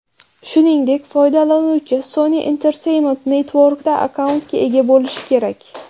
Shuningdek, foydalanuvchi Sony Entertainment Network’da akkauntga ega bo‘lishi kerak.